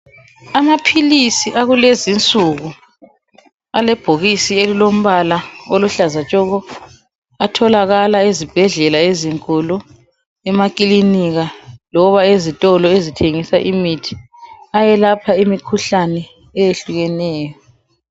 Amaphilisi akulezinsuku alebhokisi elilombala oluhlaza tshoko atholakala ezibhedlela ezinkulu emakilinika loba ezitolo ezithengisa imithi ayelapha imikhuhlane eyehlukeneyo.